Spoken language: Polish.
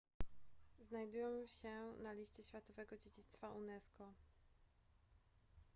znajdują się na liście światowego dziedzictwa unesco